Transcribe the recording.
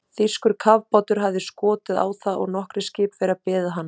Þýskur kafbátur hafði skotið á það og nokkrir skipverjar beðið bana.